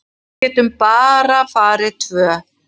Við getum bara farið tvö.